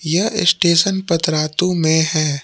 यह स्टेशन पतरातू में है।